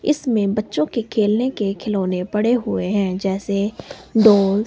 इसमें बच्चों के खेलने के खिलौने पड़े हुए हैं जैसे डॉल --